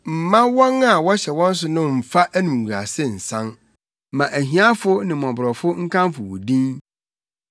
Mma wɔn a wɔhyɛ wɔn so no mmfa animguase nsan; ma ahiafo ne mmɔborɔfo nkamfo wo din.